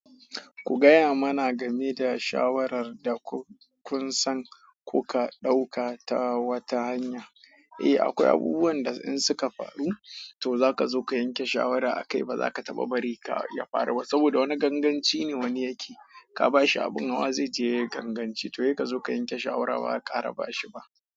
Ku gaya mana game da shawarar da kunsan kuka dauka ta wata hanya. Eh akwai abubuwan da in suka faru, to za ka zo ka yanke shawara akai ba za ka taba bari ya faru ba. Saboda wani ganganci ne wani yake, ka ba shi abin hawa zai je ganganci to kai ka zo ka yanke shawara ba a ƙara ba shi ba.